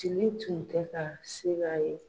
Tile tun tɛ ka se ka ye.